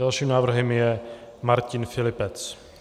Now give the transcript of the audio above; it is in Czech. Dalším návrhem je Martin Filipec.